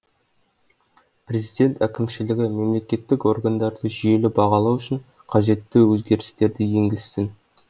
президент әкімшілігі мемлекеттік органдарды жүйелі бағалау үшін қажетті өзгерістерді енгізсін